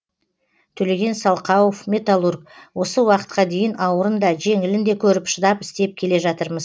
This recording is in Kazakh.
төлеген салқауов металлург осы уақытқа дейін ауырын да жеңілін де көріп шыдап істеп келе жатырмыз